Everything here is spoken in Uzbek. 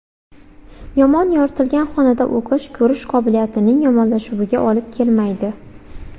Yomon yoritilgan xonada o‘qish ko‘rish qobiliyatining yomonlashuviga olib kelmaydi.